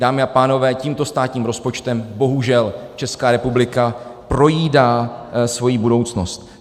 Dámy a pánové, tímto státním rozpočtem bohužel Česká republika projídá svoji budoucnost.